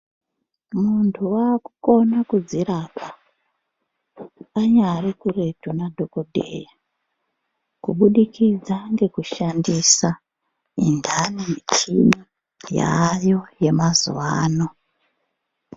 Muntu wakukona kudzirapa anyari kuretu nadhokodheya kuburididza nekushandisa intani michini yaayo yemazuwa ano.